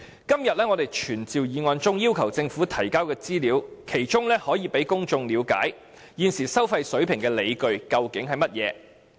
今天的傳召議案中要求政府提交的資料，可讓公眾了解現時收費水平的理據為何。